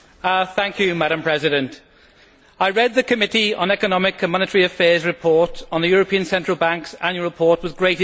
Madam President, I read the Committee on Economic and Monetary Affairs' report on the European Central Bank's annual report with great interest.